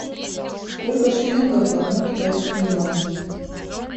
сколько шиллингов в одном китайском юане